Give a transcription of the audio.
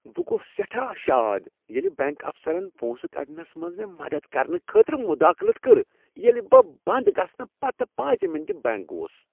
بہٕ گوس سیٹھاہ شاد ییٚلہ بینک افسرن پونسہٕ كڈنس منز مےٚ مدد کرنہٕ خٲطرٕ مداخلت کٔر ییٚلہ بہٕ بند گژھنہٕ پتہٕ پانژھ مِنٹ بینک گوس ۔